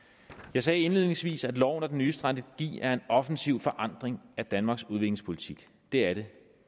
jeg sagde indledningsvis at loven og den nye strategi er en offensiv forandring af danmarks udviklingspolitik det er det